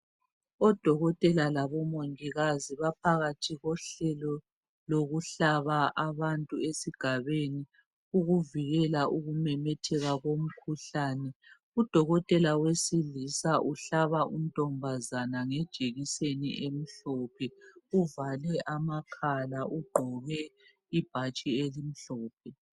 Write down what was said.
Odokotela labomongikazi baphakathi kwehlelo lokuhlaba abantu esigabeni ukuvikela ukumemetheka komkhuhlane udokotela wesilisa uhlaba untombazana ngejekiseni emhlophe uvale amakhala ugqoke ibhatshi elimhlophe.